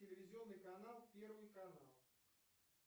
телевизионный канал первый канал